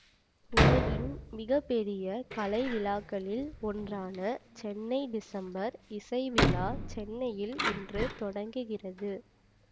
உலகின் மிக பெரிய கலை விழாக்களில் ஒன்றான சென்னை டிசம்பர் இசை விழா சென்னையில் இன்று தொடங்குகிறது